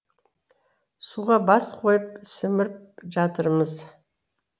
суға бас қойып сіміріп жатырмыз